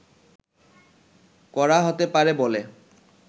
করা হতে পারে বলে